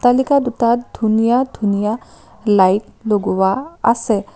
অট্টালিকা দুটাত ধুনীয়া ধুনীয়া লাইট লগোৱা আছে।